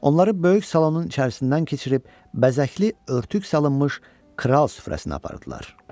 Onları böyük salonun içərisindən keçirib bəzəkli örtük salınmış kral süfrəsinə apardılar.